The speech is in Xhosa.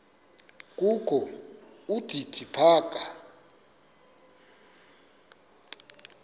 kokho udidi phaka